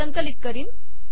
संकलित करीन